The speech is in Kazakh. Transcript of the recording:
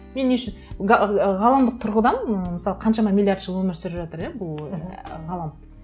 мен не үшін ғаламдық тұрғыдан мысалы қаншама миллиард жыл өмір сүріп жатыр иә бұл ғалам